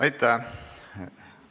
Aitäh!